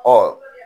Ɔ